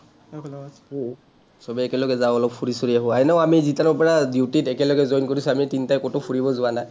চবেই একেলগে যাওঁ অলপ, ফুৰি চুৰি আহোঁ। এনেও আমি যেতিয়াৰ পৰা duty ত একেলগে join কৰিছোঁ, আমি তিনটাই ক’তো ফুৰিব যোৱা নাই।